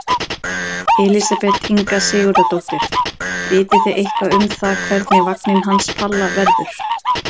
Elísabet Inga Sigurðardóttir: Vitið þið eitthvað um það hvernig vagninn hans Palla verður?